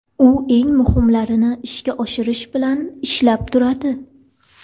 U eng muhimlarini ishga oshirish bilan ishlab turadi.